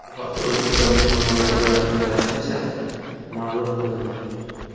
Bu haqda O‘zbekiston musulmonlari idorasining rasmiy saytida ma’lum qilindi .